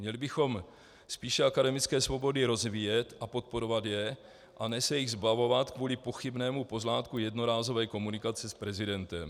Měli bychom spíše akademické svobody rozvíjet a podporovat je, a ne se jich zbavovat kvůli pochybnému pozlátku jednorázové komunikace s prezidentem.